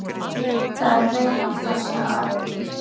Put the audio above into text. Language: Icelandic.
Þá er að reyna á það, sagði Ari.